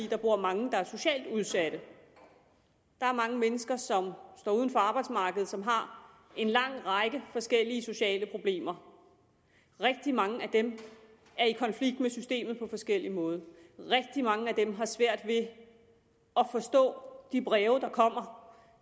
der bor mange der er socialt udsatte der er mange mennesker som står uden for arbejdsmarkedet som har en lang række forskellige sociale problemer rigtig mange af dem er i konflikt med systemet på forskellig måde rigtig mange af dem har svært ved at forstå de breve der kommer